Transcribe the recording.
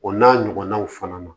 O n'a ɲɔgɔnnaw fana ma